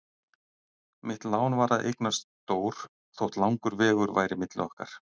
Mitt lán var að eignast Dór þótt langur vegur væri milli okkar.